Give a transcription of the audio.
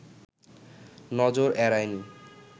নজর এড়ায় নি